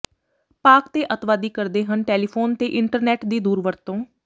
ਪਾਕਿ ਤੇ ਅੱਤਵਾਦੀ ਕਰਦੇ ਹਨ ਟੈਲੀਫੋਨ ਤੇ ਇੰਟਰਨੈੱਟ ਦੀ ਦੁਰਵਰਤੋਂ